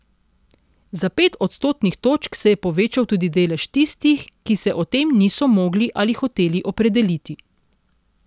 Za pet odstotnih točk se je povečal tudi delež tistih, ki se o tem niso mogli ali hoteli opredeliti.